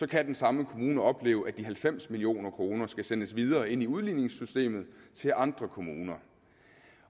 kan den samme kommune opleve at de halvfems million kroner skal sendes videre ind i udligningssystemet til andre kommuner